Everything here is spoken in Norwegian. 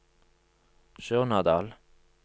Surnadal